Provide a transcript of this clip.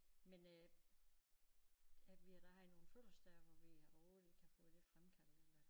Men øh ja vi har da haft nogle fødselsdage hvor vi overhovedet ikke har fået det fremkaldt eller